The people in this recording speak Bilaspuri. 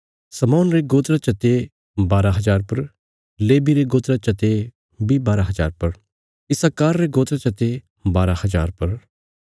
शमौन रे गोत्रा चते बारा हज़ार पर लेवी रे गोत्रा चते बारा हज़ार पर इस्साकार रे गोत्रा चते बारा हज़ार पर